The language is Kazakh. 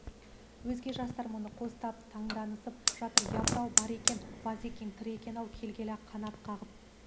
деді өзге жастар мұны қостап таңданысып жатыр япыр-ау бар екен базекең тірі екен-ау келгені-ақ қанат қағып